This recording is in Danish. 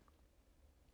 DR K